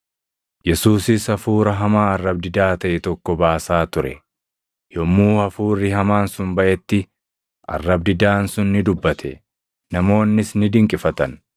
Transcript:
Yesuusis hafuura hamaa arrab-didaa taʼe tokko baasaa ture. Yommuu hafuurri hamaan sun baʼetti arrab-didaan sun ni dubbate; namoonnis ni dinqifatan.